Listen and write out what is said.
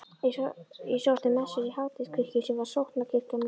Ég sótti messur í Háteigskirkju sem var sóknarkirkjan mín.